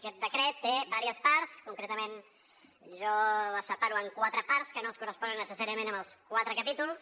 aquest decret té diverses parts concretament jo les separo en quatre parts que no es corresponen necessàriament amb els quatre capítols